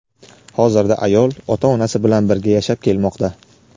hozirda ayol ota-onasi bilan birga yashab kelmoqda.